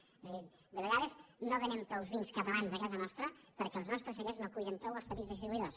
és a dir de vegades no venem prou vins catalans a casa nostra perquè els nostres cellers no cuiden prou els petits distribuïdors